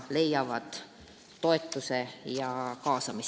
Aitäh!